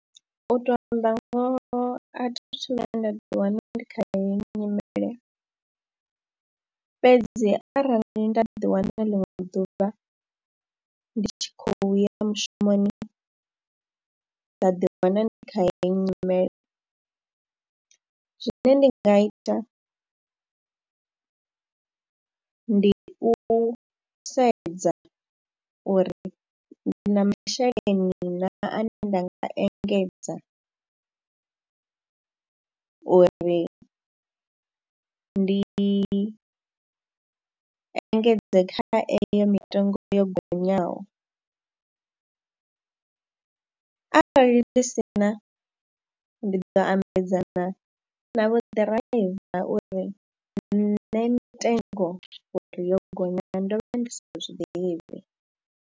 U tou amba ngoho a thi a thu vhuya nda ḓiwana ndi kha heyi nyimele fhedzi arali nda ḓiwana ḽiṅwe ḓuvha ndi tshi khou ya mushumoni, nda ḓiwana ndi kha heyi nyimele, zwine ndi nga ita ndi u sedza uri ndi na masheleni naa ane nda nga engedza uri ndi engedze kha eyo mitengo yo gonyaho arali ndi si na ndi ḓo ambedzana na vho ḓiraiva uri nṋe mitengo uri yo gonya ndo vha ndi sa zwi ḓivhi.